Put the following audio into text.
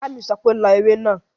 Ìyá mi sọ pé "lọ ewé náà!"